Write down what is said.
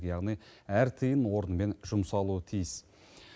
яғни әр тиын орнымен жұмсалуы тиіс